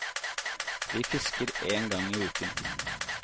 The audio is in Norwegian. De fisker én gang i uken.